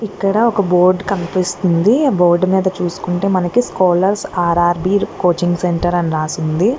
ఇక్కడ ఒక బోర్డు కనిపిస్తుంది ఆ బోర్డు మీద చూసుకుంటే మనకి స్కాలర్స్ ఆర్ఆర్బీ కోచింగ్ సెంటర్ అని రాసి ఉంది.